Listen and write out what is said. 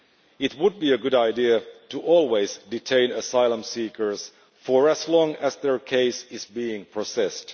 It would be a good idea to always detain asylum seekers for as long as their case is being processed.